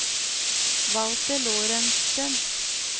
Walter Lorentzen